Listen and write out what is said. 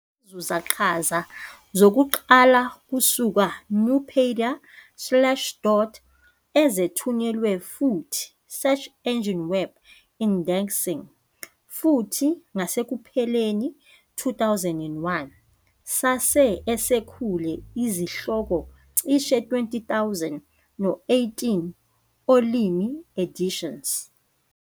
yazuza qhaza zakuqala kusuka Nupedia, Slashdot ezithunyelwe, futhi search engine web indexing. Futhi ngasekupheleni 2001 sase esekhule izihloko cishe 20,000 no 18 olimi editions.